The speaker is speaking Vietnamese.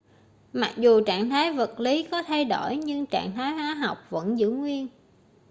mặc dù trạng thái vật lí có thay đổi nhưng trạng thái hóa học vẫn giữ nguyên